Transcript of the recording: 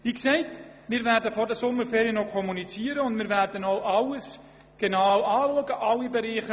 Vor der offiziellen Kommunikation werden wir also nichts kommunizieren, und wir werden alle Bereiche noch genau betrachten.